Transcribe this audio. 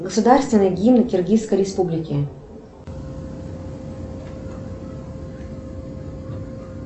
государственный гимн киргизской республики